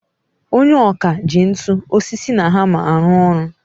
Onye ọkà ji ntu, osisi na hammer arụ ọrụ.